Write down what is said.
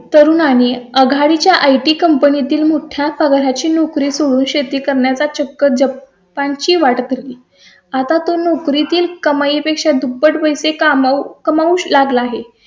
तरुण आणि आघाडी च्या आयटी कंपनी तील मोठ्या सगळ्या ची नोकरी सोडून शेती करण्याचा चक्र पाण ची वाट तरी आता तो नोकरी तील का मध्ये दुप्पट पैसे कमावू लागला आहे